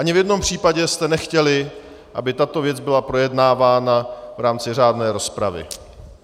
Ani v jednom případě jste nechtěli, aby tato věc byla projednávána v rámci řádné rozpravy.